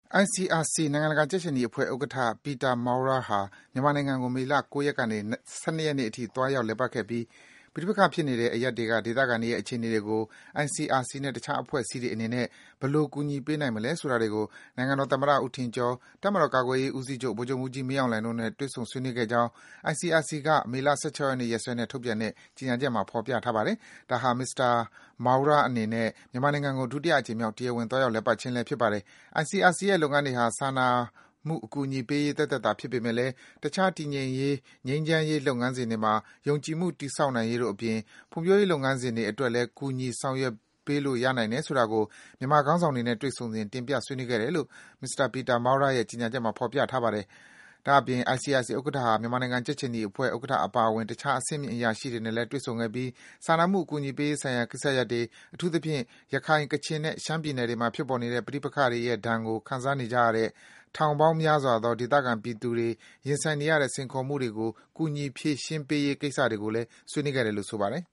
ICRC နိုင်ငံတကာ ကြက်ခြေနီအဖွဲ့ဥက္ကဋ္ဌ Peter Maurer ဟာ မြန်မာနိုင်ငံကို မေလ ၉ ရက်ကနေ ၁၂ ရက်နေ့အထိ သွားရောက် လည်ပတ်ခဲ့ပြီး ပဋိပက္ခဖြစ်နေတဲ့ အရပ်တွေက ဒေသခံတွေရဲ့ အခြေအနေတွေကို ICRC နဲ့ တခြား အဖွဲ့အစည်းတွေ အနေနဲ့ ဘယ်လို ကူညီ ပေးနိုင်မလဲ ဆိုတာတွေကို နိုင်ငံတော် သမ္မတ ဦးထင်ကျော်၊ တပ်မတော် ကာကွယ်ရေးဦးစီးချုပ် ဗိုလ်ချုပ်မှူးကြီး မင်းအောင်လှိုင်တို့နဲ့ တွေ့ဆုံ ဆွေးနွေးခဲ့ကြောင်း ICRC က မေလ ၁၆ ရက်နေ့ ရက်စွဲနဲ့ ထုတ်ပြန်တဲ့ ကြေညာချက်မှာ ဖော်ပြထားပါတယ်။ ဒါဟာ မစ္စတာ Maurer အနေနဲ့ မြန်မာနိုင်ငံကို ဒုတိယအကြိမ်မြောက် တရားဝင် သွားရောက် လည်ပတ်ခြင်းလည်း ဖြစ်ပါတယ်။ ICRC ရဲ့လုပ်ငန်းတွေဟာ စာနာမှုအကူအညီပေးရေး သက်သက်သာ ဖြစ်ပေမယ့်လည်း တခြား တည်ငြိမ်ရေး၊ ငြိမ်းချမ်းရေး လုပ်ငန်းစဉ်တွေမှာ ယုံကြည်မှု တည်ဆောက်နိုင်ရေး တို့အပြင် ဖွံ့ဖြိုးရေး လုပ်ငန်းစဉ်တွေ အတွက်လည်း ကူညီ ဆောင်ရွက်ပေးလို့ ရနိုင်တယ်ဆိုတာကို မြန်မာခေါင်းဆောင်တွေနဲ့ တွေ့ဆုံစဉ် တင်ပြ ဆွေးနွေးခဲ့တယ်လို့ Peter Maurer ရဲ့ ကြေညာချက်မှာ ဖော်ပြထားပါတယ်။ ဒါ့အပြင် ICRC ဥက္ကဋ္ဌဟာ မြန်မာကြက်ခြေနီအဖွဲ့ ဥက္ကဋ္ဌ အပါအဝင် တခြား အဆင်မြင့် အရာရှိတွေနဲ့လည်း တွေ့ဆုံခဲ့ပြီး စာနာမှု အကူအညီပေးရေး ဆိုင်ရာ ကိစ္စရပ်တွေ၊ အထူးသဖြင့် ရခိုင်၊ ကချင်နဲ့ ရှမ်းပြည်နယ်တွေ အတွင်းမှာ ဖြစ်ပေါ်နေတဲ့ ပဋိပက္ခတွေရဲ့ဒဏ်ကို ခံစားနေကြရတဲ့ ထောင်ပေါင်းများစွာသော ဒေသခံ ပြည်သူတွေ ရင်ဆိုင်နေရတဲ့ စိန်ခေါ်မှုတွေကို ကူညီ ဖြေရှင်းပေးရေး ကိစ္စတွေကို ဆွေးနွေးခဲ့တယ်လို့ ဆိုပါတယ်